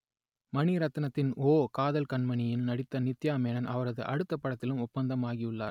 மணிரத்னத்தின் ஓ காதல் கண்மணியில் நடித்த நித்யா மேனன் அவரது அடுத்தப் படத்திலும் ஒப்பந்தமாகியுள்ளார்